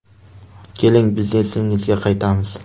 Keling, biznesingizga qaytamiz.